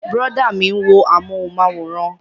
Brọ̀dá mi ń wo amúhùnmáwòrán